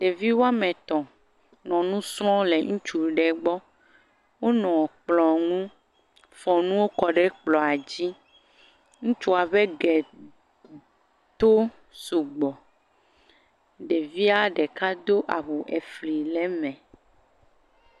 ɖevi wɔametɔ̃ nɔ ŋusrɔm le ŋutsu ɖe gbɔ wonɔ kplɔ̃ ŋu fɔ nuwo kɔɖe kplɔ̃ dzi ŋutsua ƒe ge to sugbɔ ɖevia ɖeka do awu efli le me